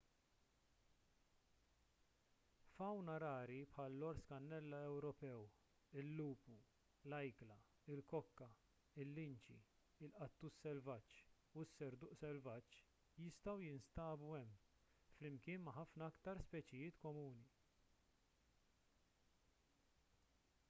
fawna rari bħall-ors kannella ewropew il-lupu l-ajkla il-kokka il-linċi il-qattus selvaġġ u s-serduq selvaġġ jistgħu jinstabu hemm flimkien ma' ħafna aktar speċijiet komuni